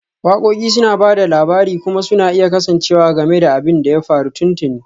Waƙoƙi suna ba da labari kuma suna iya kasancewa game da abin da ya faru tuntuni